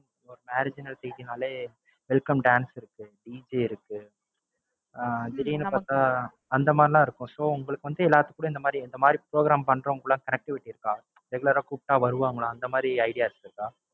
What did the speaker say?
இப்போ marriage எடுத்துக்கிட்டீங்கனாலே welcome dance இருக்கு, DJ இருக்கு ஆஹ் திடீர்ன்னு பாத்தா அந்த மாதிரி எல்லாம் இருக்கும். so உங்களுக்கு வந்து எல்லாத்துக்குமே இந்த மாதிரி இந்த மாதிரி program பண்றவங்க கூட connectivity இருக்கா regular ஆ கூப்பிட்டா வருவாங்களா? இந்தமாதிரி ideas இருக்கா?